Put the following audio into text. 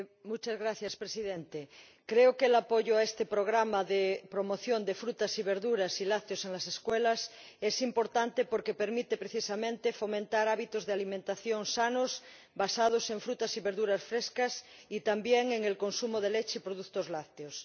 Señor Presidente, creo que el apoyo a este programa de promoción de frutas y verduras y lácteos en las escuelas es importante porque permite precisamente fomentar hábitos de alimentación sanos basados en frutas y verduras frescas y también en el consumo de leche y productos lácteos.